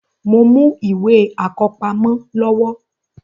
Mo mú ìwé àkọ́pamọ́ lọ́wọ́